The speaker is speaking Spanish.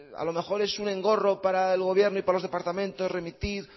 a lo mejor es un engorro para el gobierno y para los departamentos remitir